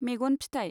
मेगन फिथाइ